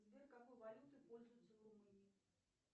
сбер какой валютой пользуются в румынии